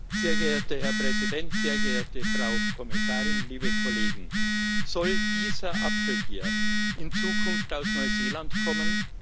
Sehr geehrter Herr Präsident, sehr geehrte Frau Kommissarin, liebe Kolleginnen und Kollegen! Soll dieser Apfel hier in Zukunft aus Neuseeland kommen?